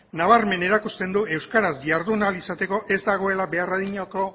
nabarmen erakusten du euskaraz jardun ahal izateko ez dagoela behar adinako